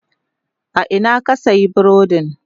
A ina ka sayi burodin?